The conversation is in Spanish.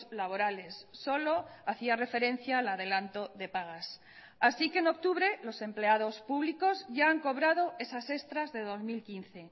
laborales solo hacia referencia al adelanto de pagas así que en octubre los empleados públicos ya han cobrado esas extras de dos mil quince